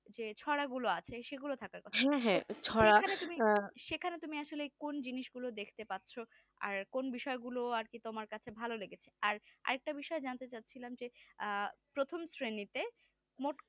হচ্ছে ছড়াগুলো আছে সেগুলো থাকার কথা হ্যাঁ হ্যাঁ এখানে তুমি সেখানে তুমি আসলে কোন জিনিস গুলো দেখতে পাচ্ছ আর কোন বিষয়গুলো আর কি তোমার কাছে ভালো লেগেছে আর আরেকটা বিষয় জানতে চাচ্ছিলাম যে প্রথম শ্রেণীতে মোট